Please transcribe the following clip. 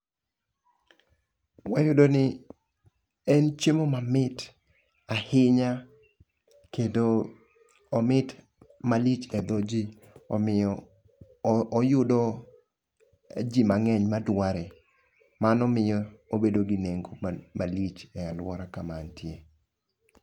Wayudo ni en chiemo mamit ahinya kendo omit malich e dho ji, omiyo oyudo ji mang'eny madware. Mano miyo obedo gi nengo malich e alwora kama antie ni.